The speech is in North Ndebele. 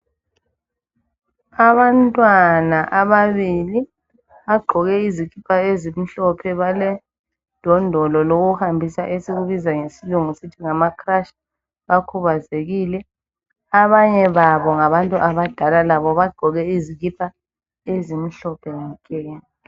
Abantwana ababili bagqoke izikipa ezimhlophe baledondolo lokuhambisa esikubiza ngesilungu sithi ngamacrutch bakhubazekile, abanye babo ngabantu abadala labo bagqoke izikipa ezimhlophe nke.